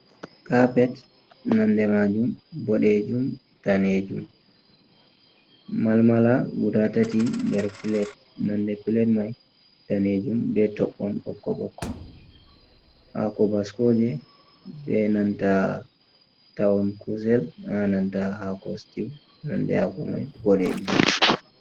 Kapet nonde majum boɗejum danejum, malmala guda tati nder plet nonde plate man daneju. Be toɓon ɓokko ɓokko hako baskoje benanta ta'on kusel ha nanta hako stiw nonde hako man boɗejum.